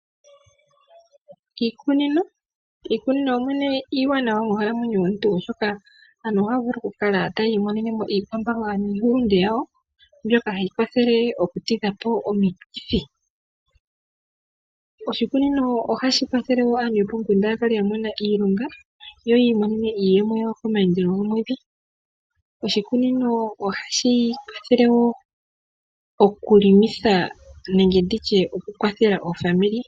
Iikunino iiwanawa monkalamwenyo yomuntu oshoka aantu ohaya vulu okukala tayi imonenemo iikwamboga niihulunde yawo, mbyoka hayi kwathele okutidhapo omikithi . Oshikunino ohashi kwathele wo aantu yopomukunda yakale yamona iilonga yo yiimonenemo iiyemo yawo kamaandelo gomwedhi . Oshikunino ohashi kwathele okukwathela omazimo nenge okuhelelitha.